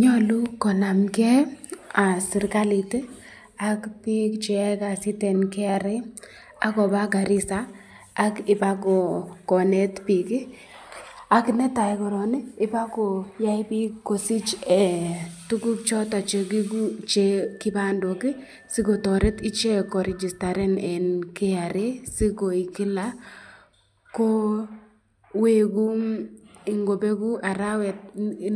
Nyalu konamken serikalit ak bik cheyae kasit eng KRA ak koba Garisa, ak ibakonet bik, ak netai korong ii kobakoyai bik kosich tukuk choton kibandok sikotoret ichek koregistaren eng KRA sikoik Kila ko weku ingobeku arawet